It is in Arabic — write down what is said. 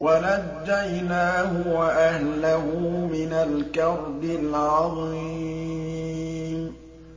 وَنَجَّيْنَاهُ وَأَهْلَهُ مِنَ الْكَرْبِ الْعَظِيمِ